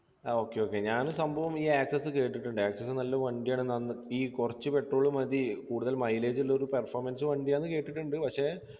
ആ okay okay ഞാൻ സംഭവം ഈ access കേട്ടിട്ടുണ്ട് access നല്ല വണ്ടിയാണ് നന്ന് ഈ കൊറച്ച് petrol മതി കൂടുതൽ mileage ഉള്ളൊരു performance വണ്ടിയാന്ന് കേട്ടിട്ട്ണ്ട് പക്ഷെ